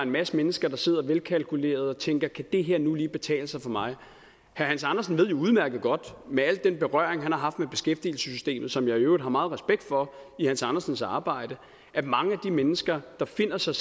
masse mennesker der sidder velkalkulerede og tænker kan det her nu lige betale sig for mig herre hans andersen ved jo udmærket godt med al den berøring han har haft med beskæftigelsessystemet som jeg i øvrigt har meget respekt for i herre hans andersens arbejde at mange af de mennesker der befinder sig